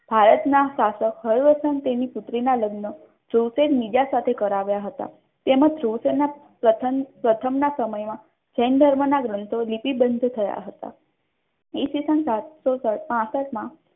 ભારતના શાસક હળવસન તેની પુત્રીના લગ્ન ધ્રુવસેન બીજા સાથે કરાવ્યા હતા. તેમજ ધ્રુવસેનના પ્રથમ પ્રથમના સમયમાં જૈન ધર્મના ગ્રંથો નીતિબદ્ધ થયા હતા ઇસવીસન સાથે સાતસો પાસઠ માં